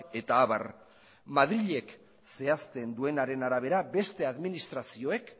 eta abar madrilek zehazten duenaren arabera beste administrazioek